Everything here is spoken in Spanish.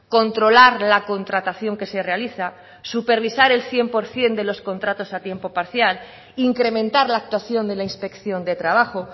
controlar la contratación que se realiza supervisar el cien por ciento de los contratos a tiempo parcial incrementar la actuación de la inspección de trabajo